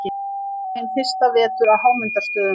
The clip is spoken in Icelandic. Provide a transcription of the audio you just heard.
Hann var hinn fyrsta vetur á Hámundarstöðum.